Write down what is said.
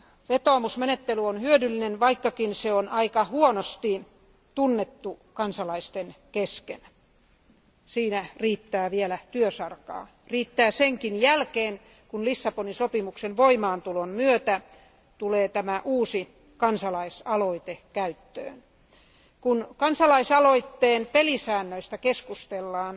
Vetoomusmenettely on hyödyllinen, vaikkakin se on aika huonosti tunnettu kansalaisten kesken. Siinä riittää vielä työsarkaa. Riittää senkin jälkeen, kun Lissabonin sopimuksen voimaantulon myötä tulee käyttöön tämä uusi kansalaisaloite. Kun kansalaisaloitteen pelisäännöistä keskustellaan,